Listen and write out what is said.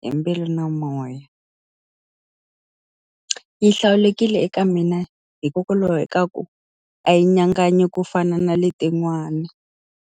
hi mbilu na moya. Yi hlawulekile eka mina hikokwalaho ka ku a yi nyanganyi ku fana na letin'wana.